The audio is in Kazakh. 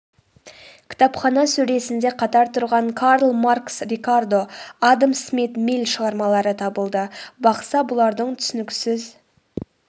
кітапхана сөресінде қатар тұрған карл маркс рикардо адам смит милль шығармалары табылды бақса бұлардың түсініксіз